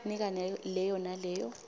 nika leyo naleyo